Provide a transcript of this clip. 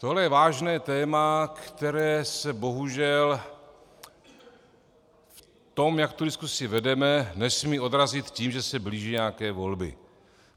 Tohle je vážné téma, které se bohužel v tom, jak tu diskusi vedeme, nesmí odrazit tím, že se blíží nějaké volby.